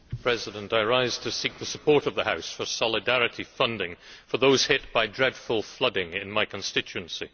Mr President, I rise to seek the support of the House for solidarity funding for those hit by dreadful flooding in my constituency.